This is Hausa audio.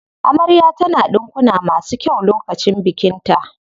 Amarya ta na ɗinkuna masu kyau lokacin bikin ta.